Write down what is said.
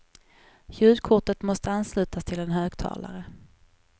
Ljudkortet måste anslutas till en högtalare.